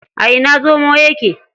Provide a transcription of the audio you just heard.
A ina zomo yake?